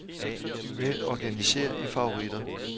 Vælg organiser i favoritter.